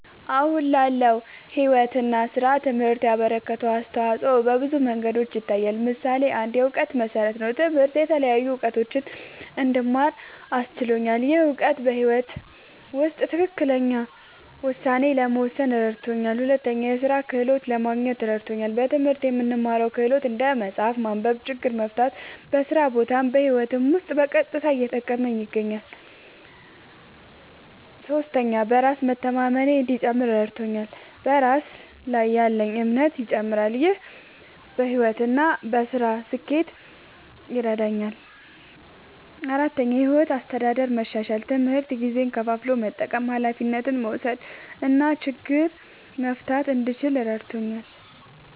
አሁን ላለው ሕይወት እና ሥራ ትምህርት ያበረከተው አስተዋጾ በብዙ መንገዶች ይታያል። ምሳሌ ፩, የእውቀት መሠረት ነዉ። ትምህርት የተለያዩ እዉቀቶችን እንድማር አስችሎኛል። ይህ እውቀት በሕይወት ውስጥ ትክክለኛ ውሳኔ ለመወሰን እረድቶኛል። ፪, የሥራ ክህሎት ለማግኘት እረድቶኛል። በትምህርት የምንማረው ክህሎት (እንደ መጻፍ፣ ማንበብ፣ ችግር መፍታ) በስራ ቦታም በህይወቴም ዉስጥ በቀጥታ እየጠቀመኝ ይገኛል። ፫. በራስ መተማመኔ እንዲጨምር እረድቶኛል። በራስ ላይ ያለኝ እምነትም ይጨምራል። ይህ በሕይወት እና በሥራ ስኬት ይረዳኛል። ፬,. የሕይወት አስተዳደር መሻሻል፦ ትምህርት ጊዜን ከፋፍሎ መጠቀም፣ ኃላፊነት መውሰድ እና ችግር መፍታት እንድችል እረድቶኛል።